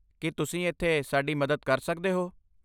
ਕੀ ਤੁਸੀਂ ਇੱਥੇ ਸਾਡੀ ਮਦਦ ਕਰ ਸਕਦੇ ਹੋ?